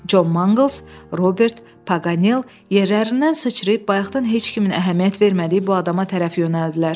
Con Manqles, Robert Paqanel yerlərindən sıçrayıb bayaqdan heç kimin əhəmiyyət vermədiyi bu adama tərəf yönəldilər.